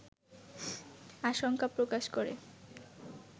আশঙ্কা প্রকাশ করে